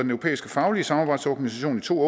europæiske faglige samarbejdsorganisation i to